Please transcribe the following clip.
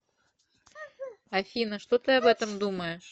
афина что ты об этом думаешь